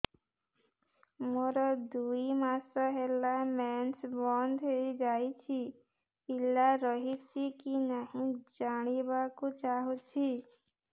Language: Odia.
ମୋର ଦୁଇ ମାସ ହେଲା ମେନ୍ସ ବନ୍ଦ ହେଇ ଯାଇଛି ପିଲା ରହିଛି କି ନାହିଁ ଜାଣିବା କୁ ଚାହୁଁଛି